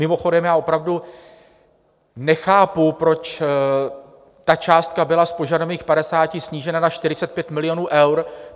Mimochodem já opravdu nechápu, proč ta částka byla z požadovaných 50 snížena na 45 milionů eur.